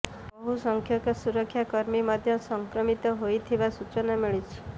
ବହୁ ସଂଖ୍ୟକ ସୁରକ୍ଷା କର୍ମୀ ମଧ୍ୟ ସଂକ୍ରମିତ ହୋଇଥିବା ସୂଚନା ମିଳିଛି